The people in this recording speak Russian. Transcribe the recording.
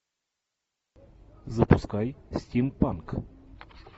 запускай стимпанк